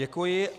Děkuji.